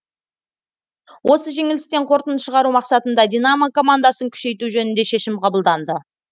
осы жеңілістен қорытынды шығару мақсатында динамо командасын күшейту жөнінде шешім қабылданды